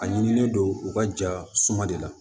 A ɲinilen don u ka ja suma de la